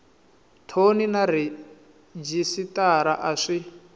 thoni na rhejisitara a swi